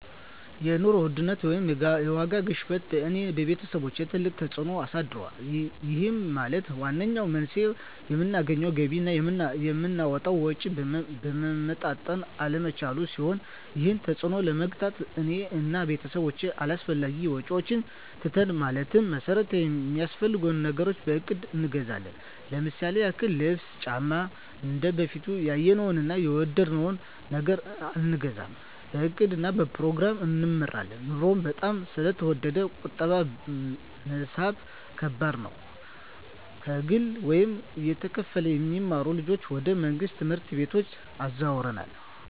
የኑሮ ውድነት ወይም የዋጋ ግሽበት በእኔ እና በቤተሰቦቸ ትልቅ ተፅእኖ አሳድሮብናል ይህም ማለት ዋነኛው መንስኤው የምናገኘው ገቢ እና የምናወጣው ወጪ መመጣጠን አለመቻሉን ሲሆን ይህንን ተፅዕኖ ለመግታት እኔ እና ቤተሰቦቸ አላስፈላጊ ወጪዎችን ትተናል ማለትም መሠረታዊ ሚያስፈልጉንን ነገሮች በእቅድ እንገዛለን ለምሳሌ ያክል ልብስ እና ጫማ እንደበፊቱ ያየነውን እና የወደድነውን ነገር አንገዛም በእቅድ እና በፕሮግራም እንመራለን ኑሮው በጣም ስለተወደደ ቁጠባ መሣብ ከባድ ነው። ከግል ወይም እየተከፈለ የሚማሩ ልጆችን ወደ መንግሥት ትምህርት ቤቶች አዘዋውረናል።